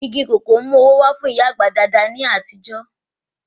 Igi kòkó ń mú owó wá fún ìyá àgbà dáadáa ní àtijọ́